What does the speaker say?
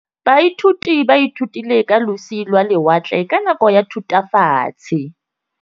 Baithuti ba ithutile ka losi lwa lewatle ka nako ya Thutafatshe.